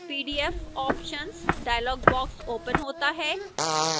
pdf options dialog box opens होता है